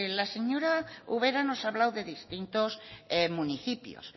la señora ubera nos ha hablado de distintos municipios